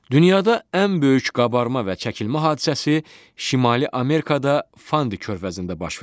Dünyada ən böyük qabarma və çəkilmə hadisəsi Şimali Amerikada Fandi körfəzində baş verir.